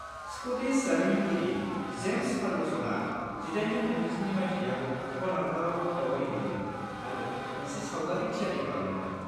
Scottish जारिमिनगिरि James फार्ग्युसनआ 1837 मायथाइयाव कनार्कआव दावबायहैदोंमोन आरो मोनसे सावगारि थियारि खालामदोंमोन।